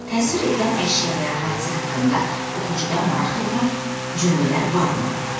Təsvir edilən əşya və ya hadisə haqqında oxucuda maraq doğuran cümlələr varmı?